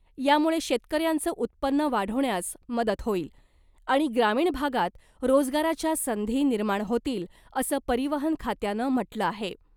यामुळे शेतकऱ्यांचं उत्पन्न वाढवण्यास मदत होईल , आणि ग्रामीण भागात रोजगाराच्या संधी निर्माण होतील , असं परिवहन खात्यानं म्हटलं आहे .